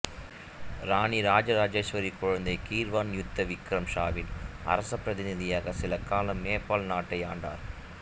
ராணி ராஜராஜேஸ்வரி குழந்தை கீர்வான் யுத்த விக்ரம் ஷாவின் அரசப் பிரதிநிதியாக சில காலம் நேபாள நாட்டை ஆண்டார்